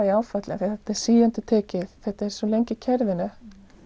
í áfalli því þetta er síendurtekið þetta er svo lengi í kerfinu